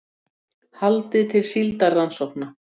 Haldið til síldarrannsókna